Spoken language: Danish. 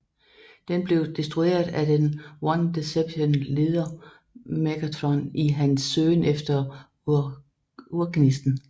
Den blev destrueret af den one Decepticon leder Megatron i hans søgen efter Urgnisten